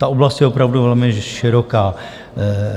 Ta oblast je opravdu velmi široká.